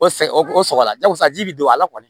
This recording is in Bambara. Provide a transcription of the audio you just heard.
O sa o sɔgɔra jagosa ji bi don a la kɔni